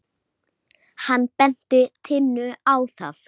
Hvað með skólann minn?